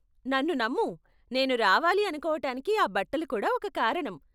నన్ను నమ్ము, నేను రావాలి అనుకోవటానికి ఆ బట్టలు కూడా ఒక కారణం.